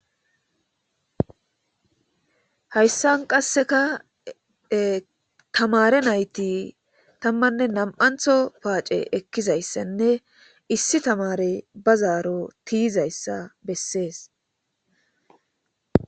Hayssan qasseka tamaare nayti tammanne nam7antho paace ekkizayssanne issi tamaarey ba zaaro tiyizaysa bessees.